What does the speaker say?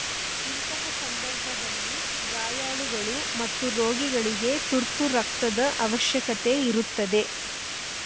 ಇಂತಹ ಸಂದರ್ಭದಲ್ಲಿ ಗಾಯಾಳುಗಳು ಮತ್ತು ರೋಗಿಗಳಿಗೆ ತುರ್ತು ರಕ್ತದ ಅವಶ್ಯಕತೆ ಇರುತ್ತದೆ